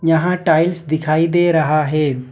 यहां टाइल्स दिखाई दे रहा है।